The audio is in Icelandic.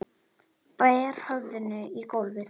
Ber höfðinu í gólfið.